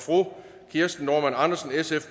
kirsten normann andersen